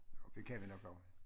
Det kan vi nok nå